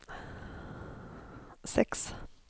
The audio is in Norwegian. seks